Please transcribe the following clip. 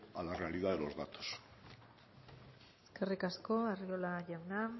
a la realidad de los datos eskerrik asko arriola jauna